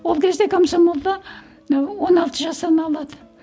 ол кезде комсомолда ы он алты жастан алады